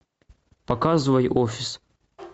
показывай офис